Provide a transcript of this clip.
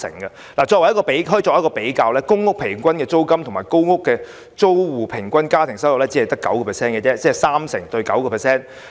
相比之下，公屋租金平均只佔租戶家庭收入的 9%， 即三成對 9%。